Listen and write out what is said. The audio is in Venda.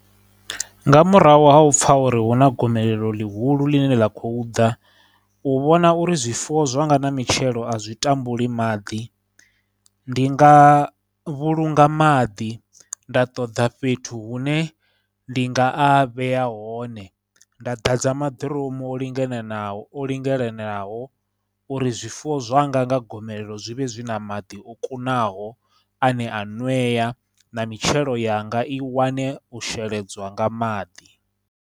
Nga murahu ha u pfha uri huna gomelelo ḽihulu ḽine ḽa khou ḓa, u vhona uri zwifuwo zwanga na mitshelo a zwi tambuli maḓi, ndi nga vhulunga maḓi nda ṱoḓa fhethu hune ndi nga a vhea hone, nda ḓadza maḓiromu o lingananaho o lingalenaho uri zwifuwo zwanga nga gomelelo zwi vhe zwi na maḓi o kunaho ane a nweya, na mitshelo yanga i wane u sheledzwa nga maḓi.